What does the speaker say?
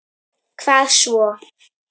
Hvað svo?